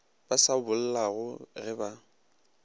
ba sa bollago ge ba